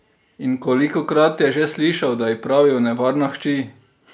In kolikokrat je že slišal, da ji pravijo nevarna hči?